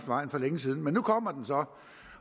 vejen for længe siden men nu kommer den så